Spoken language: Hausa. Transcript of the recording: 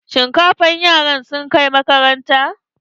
Shinkafa yaran suka kai makaranta.